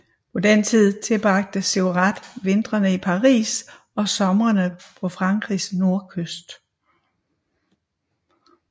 På den tid tilbragte Seurat vintrene i Paris og somrene på Frankrigs nordkyst